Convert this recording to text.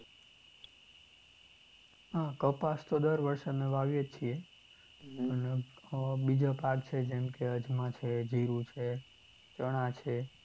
હા કપાસ તો દર વર્ષે અમે વાવીએ જ છીએ. પણ અમ બીજા પાક છે જેમકે અજમા છે, જિરુ છે, ચણા છે.